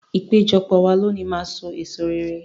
Ìpéjọpọ̀ wa lónìí máa so èso rere.